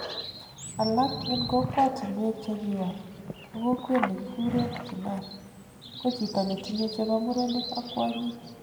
Alak eng kokwotunwek chekiwal ko kokwet nekikuren kinnar ko chito netinye chebo murenik ak kwonyik